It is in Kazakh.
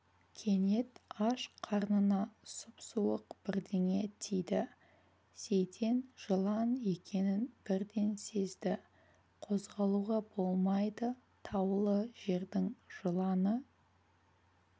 кенет аш қарнына сұп-суық бірдеңе тиді сейтен жылан екенін бірден сезді қозғалуға болмайды таулы жердің жыланы